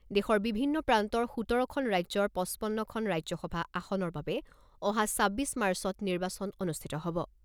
দেশৰ বিভিন্ন প্ৰান্তৰ সোতৰখন ৰাজ্যৰ পঁচপন্নখন ৰাজ্যসভা আসনৰ বাবে অহা ছাব্বিছ মাৰ্চত নিৰ্বাচন অনুষ্ঠিত হ'ব।